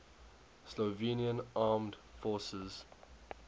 slovenian armed forces